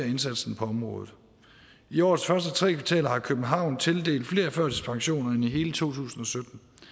indsatsen på området i årets første tre kvartaler har københavn tildelt flere førtidspensioner end i hele to tusind og